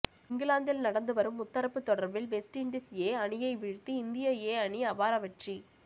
இங்கிலாந்தில் நடந்துவரும் முத்தரப்பு தொடரில் வெஸ்ட் இண்டீஸ் ஏ அணியை வீழ்த்தி இந்திய ஏ அணி அபார வெற்றி